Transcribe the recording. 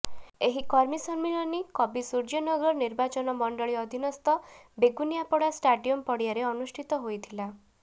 ଏହି କର୍ମୀ ସମ୍ମିଳନୀ କବିସୂର୍ଯ୍ୟନଗର ନିର୍ବାଚନ ମଣ୍ଡଳୀ ଅଧିନସ୍ଥ ବେଗୁନିଆପଡା ଷ୍ଟାଡିୟମ ପଡିଆରେ ଅନୁଷ୍ଠିତ ହୋଇଥିଲା